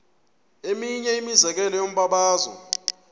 eminye imizekelo yombabazo